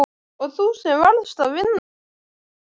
Og þú sem varst að vinna alla síðustu helgi!